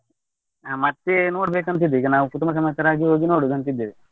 ಮತ್ತೆ ನೋಡ್ಬೇಕು ಅಂತ ಇದ್ದೇವೆ ಕುಟುಂಬ ಸಮೇತರಾಗಿ ಹೋಗಿ ನೋಡುದು ಅಂತ ಇದ್ದೇವೆ.